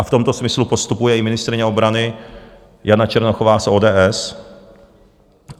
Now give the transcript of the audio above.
A v tomto smyslu postupuje i ministryně obrany Jana Černochová z ODS.